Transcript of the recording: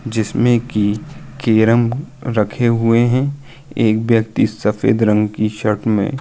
जिसमे की केरम रखे हुए हैं। एक व्यक्ति सफ़ेद रंग की शर्ट में --